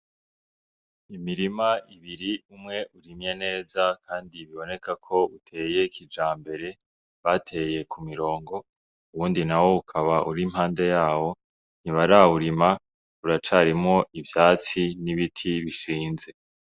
Imirima ibiri umwe urimye neza, kandi biboneka ko uteye kija mbere bateye ku mirongo uwundi na wo ukaba uri mpande yawo ntibarawurima uracarimwo ivyatsi n'ibiti bishinze.